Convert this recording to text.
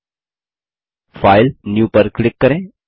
file जीटीजीटी new पर click करें